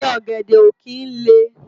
Igi ògèdè ó kin lé